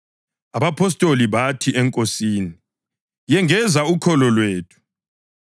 Abapostoli bathi eNkosini, “Yengeza ukholo lwethu!”